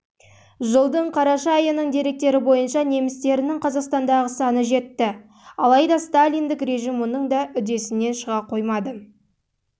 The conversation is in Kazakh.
жылдың қараша айының деректері бойынша немістерінің қазақстандағы саны жетті алайда сталиндік режим мұның да үдесінен